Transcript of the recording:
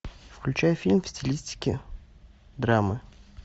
включай фильм в стилистике драмы